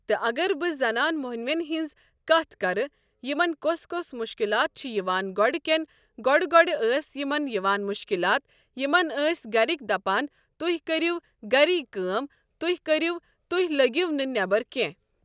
تہٕ اَگر بہٕ زنان مۄنوٮ۪ن ہٕنٛز کتھ کَرٕ یمن کۄس کۄس مشکِلات چھ یوان گۄڑٕ کٮ۪ن گۄڈٕ گۄڈٕ ٲس یمن یوان مشکِلات یمن أسۍ گرِکۍ دَپان تُہۍ کٔرِو گری کٲم تُہۍ کرِو تُہۍ لٔگِو نہٕ نٮ۪برٕ کٮ۪نٛہہ۔